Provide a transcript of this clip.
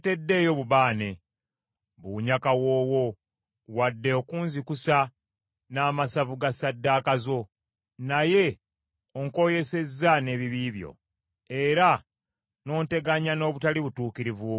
Tondeeteddeeyo bubaane buwunya kawoowo wadde okunzikusa n’amasavu ga ssaddaaka zo, naye onkoyesezza n’ebibi byo, era n’onteganya n’obutali butuukirivu bwo.